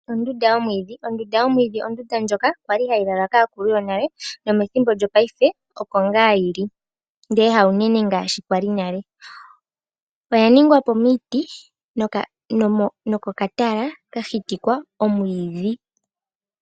Ondunda yomwiidhi , Ondunda yomwiidhi ondunda ndjoka kwali hayi lalwa kaakulu yonale, nomethimbo lyo paife oko ngaa yili ndele ha unene ngaashi kwali nale. Oya ningwa po miiti nomo katala ka hitikwa omwiidhi.